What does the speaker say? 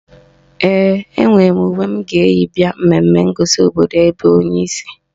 Ee, enwe m uwe m ga-eyi bịa mmemme ngosi obodo ebe onye si